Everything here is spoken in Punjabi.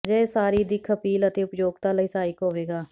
ਅਜਿਹੇ ਉਸਾਰੀ ਦਿੱਖ ਅਪੀਲ ਅਤੇ ਉਪਯੋਗਤਾ ਲਈ ਸਹਾਇਕ ਹੋਵੇਗਾ